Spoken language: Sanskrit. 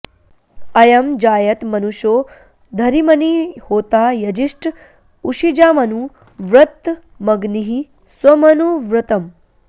अ॒यं जा॑यत॒ मनु॑षो॒ धरी॑मणि॒ होता॒ यजि॑ष्ठ उ॒शिजा॒मनु॑ व्र॒तम॒ग्निः स्वमनु॑ व्र॒तम्